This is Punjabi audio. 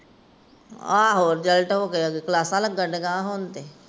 ਆਹੋ ਕਲਾਸਾਂ ਲੱਗਣ ਰਹੀਆਂ ਹੁਣ ਤੇ।